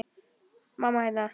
Mamma, hérna.